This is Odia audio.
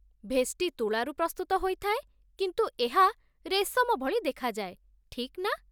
ଭେଷ୍ଟି ତୁଳାରୁ ପ୍ରସ୍ତୁତ ହୋଇଥାଏ, କିନ୍ତୁ ଏହା ରେଶମ ଭଳି ଦେଖାଯାଏ, ଠିକ୍ ନା?